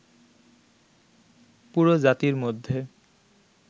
পুরো জাতির মধ্যে